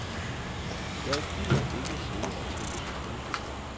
Jeg gider ikke sidde og trille tommelfingre.